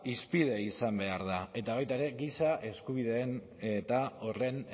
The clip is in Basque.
hizpide izan behar da eta baita ere giza eskubideen eta horren